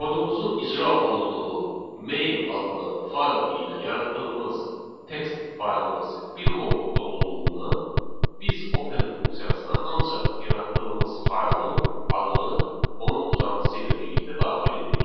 Kodumuzun icra olunduğu main adlı fayl ilə yaratdığımız text faylımız bir qovluqda olduğundan biz open funksiyasına ancaq yaratdığımız faylın adını onun uzantısı ilə birlikdə daxil edirik.